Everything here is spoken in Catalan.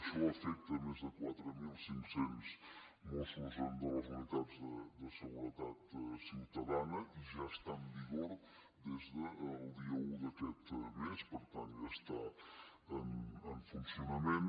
això afecta més de quatre mil cinc cents mossos de les unitats de seguretat ciutadana i ja està en vigor des del dia un d’aquest mes per tant ja està en funcionament